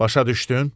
Başa düşdün?